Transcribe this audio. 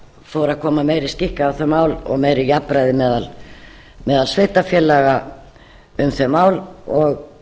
fór að koma meiri skikk á þau mál og meira jafnræði meðal sveitarfélaga um þau ár og